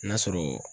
N'a sɔrɔ